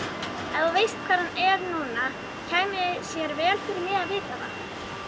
Ef þú veist hvar hann er núna kæmi sér vel fyrir mig að vita það.